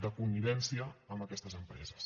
de connivència amb aquestes empreses